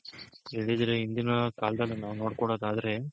ಹೇಳಿದ್ರೆ ಇಂದಿನ ಕಾಲ್ದಲ್ ನಾವ್ ನೋಡ್ಕೊಳೋದಾದ್ರೆ .